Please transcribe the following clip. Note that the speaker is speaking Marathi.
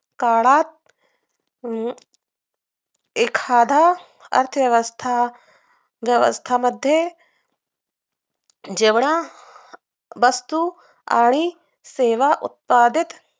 काळात अं एखाद्दा अर्थव्यवस्था व्यवस्थांमध्ये जेवढा वस्तूत आणि सेवा उत्पदीत